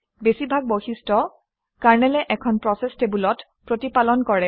বেছিভাগ বৈশিষ্ট্য কাৰনেলে এখন প্ৰচেচ টেবুলত প্ৰতিপালন কৰে